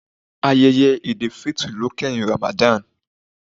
Ayẹyẹ Eid-el-fitr ló kẹ́hìn Ramadan.